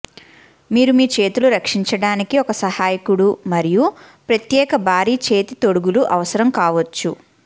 మీరు మీ చేతులు రక్షించడానికి ఒక సహాయకుడు మరియు ప్రత్యేక భారీ చేతి తొడుగులు అవసరం కావచ్చు